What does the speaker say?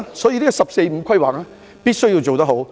因此，"十四五"規劃必須做好。